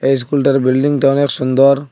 ইস্কুলটার বিল্ডিংটা অনেক সুন্দর।